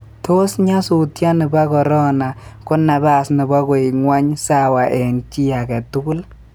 Tos nyasutioni ba Korona ko nabas nebo koek ngwony sawa eng chi age tugul?